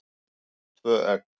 Tvö egg.